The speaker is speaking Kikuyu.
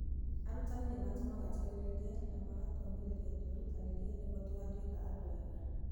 Arutani nĩ matũmaga twĩrirĩrie na magatũũmĩrĩria twĩrutanĩrie nĩguo tugatuĩka andũ ega.